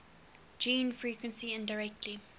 gene frequency indirectly